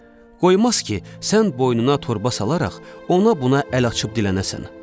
Qoymaz ki, sən boynuna torba salaraq ona-buna əl açıb dilənəsən.